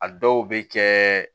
A dɔw bɛ kɛ